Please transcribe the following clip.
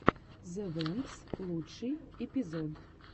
зе вэмпс лучший эпизод